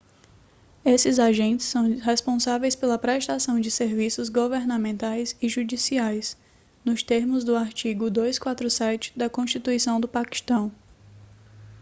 esses agentes são responsáveis pela prestação de serviços governamentais e judiciais nos termos do artigo 247 da constituição do paquistão